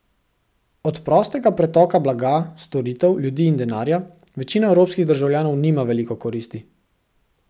Od prostega pretoka blaga, storitev, ljudi in denarja večina evropskih državljanov nima veliko koristi.